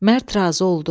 Mərd razı oldu.